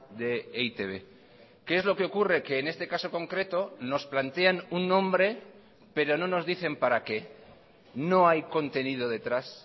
de e i te be qué es lo que ocurre que en este caso concreto nos plantean un nombre pero no nos dicen para qué no hay contenido detrás